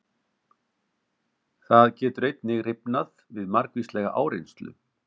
Það getur einnig rifnað við margvíslega áreynslu.